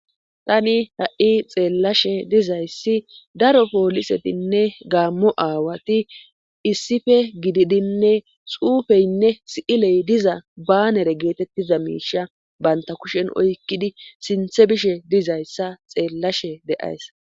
tani ha'i xeellashe dizayssi daro poolisetinne gaammo aawati issippe gididinne xuufeynne si'iley diza baanere geetettiza miisha banta kushen oykkidi sinththe bishe dizayssa xeellashe de'ays